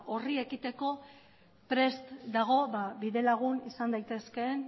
hori ekiteko prest dago bide lagun izan daitezkeen